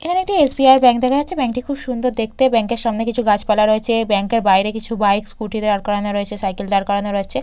এখানে একটি SBI bank দেখা যাচ্ছে ব্যাংক টি খুব সুন্দর দেখতে ব্যাংক এর সামনে কিছু গাছপালা রয়েছে ব্যাংক এর বাইরে কিছু বাইক স্কুটি দাঁড় করানো রয়েছে সাইকেল দাঁড় করানো রয়েছে।